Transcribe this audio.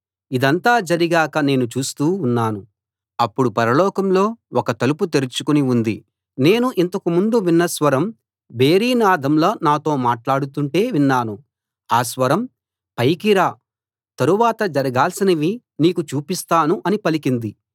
ఇదంతా జరిగాక నేను చూస్తూ ఉన్నాను అప్పుడు పరలోకంలో ఒక తలుపు తెరుచుకుని ఉంది నేను ఇంతకు ముందు విన్న స్వరం భేరీ నాదంలా నాతో మాట్లాడుతుంటే విన్నాను ఆ స్వరం పైకి రా తరువాత జరగాల్సినవి నీకు చూపిస్తాను అని పలికింది